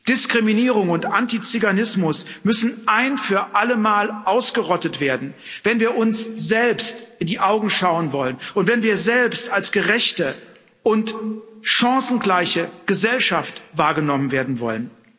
Diskriminierung und Antiziganismus müssen ein für ein für alle Mal ausgerottet werden, wenn wir uns selbst in die Augen schauen wollen und wenn wir selbst als gerechte und chancengleiche Gesellschaft wahrgenommen werden wollen.